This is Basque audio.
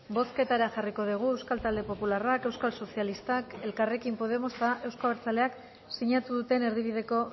bozketara jarriko dugu euskal talde popularrak euskal sozialistak elkarrekin podemos eta euzko abertzaleak sinatu duten erdibideko